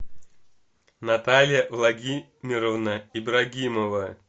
наталья владимировна ибрагимова